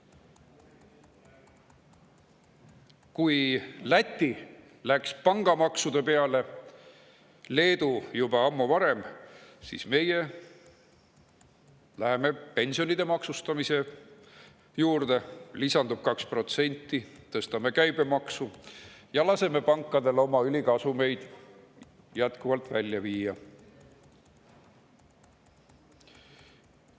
Läti pangamaksu, varem ka Leedu, juba ammu, aga meie läheme pensionide maksustamise juurde – lisandub 2% –, tõstame käibemaksu ja laseme pankadel oma ülikasumeid jätkuvalt välja viia.